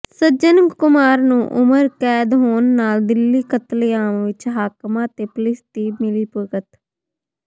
ਸੱਜਣ ਕੁਮਾਰ ਨੂੰ ਉਮਰ ਕੈਦ ਹੋਣ ਨਾਲ ਦਿੱਲੀ ਕਤਲੇਆਮ ਵਿਚ ਹਾਕਮਾਂ ਤੇ ਪੁਲਿਸ ਦੀ ਮਿਲੀਭੁਗਤ